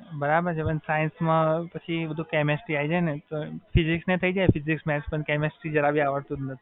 ના, મારુ તો ભણવાનું સારું નહોતું. tenth માં sixty જ આવ્યા તા ખાલી